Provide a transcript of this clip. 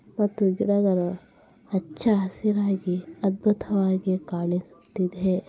ಮತ್ತು ಗಿಡಗಳು ಹಚ್ಚ ಹಸಿರಾಗಿ ಅದ್ಭುತವಾಗಿ ಕಾಣಿಸ್ತಿದೆ .